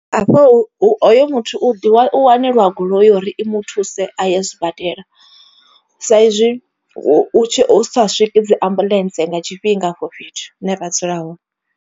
Hafho hoyo muthu u wanelwa goloi uri i muthuse a ye sibadela. Sa izwi u tshi sa swiki dzi ambuḽentse nga tshifhinga afho fhethu hune ra dzula hone.